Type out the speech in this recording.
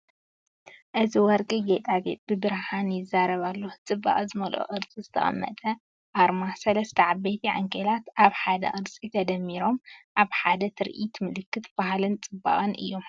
እዚ ወርቂ ጌጣጌጥ ብብርሃን ይዛረብ ኣሎ። ጽባቐ ዝመልኦ ቅርጺ ዝተቐመጠ ኣርማ። ሰለስተ ዓበይቲ ዓንኬላት ኣብ ሓደ ቅርጺ ተደሚሮም፡ ኣብ ሓደ ትርኢት ምልክት ባህልን ጽባቐን እዮም።